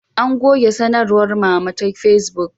An goge sanarwar Mama ta Fesbuk